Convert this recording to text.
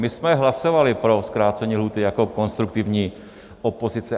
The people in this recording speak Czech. My jsme hlasovali pro zkrácení lhůty jako konstruktivní opozice.